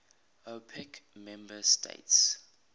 opec member states